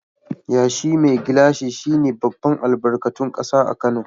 Yashi mai gilashi shi ne babban albarkatun kasa a Kano.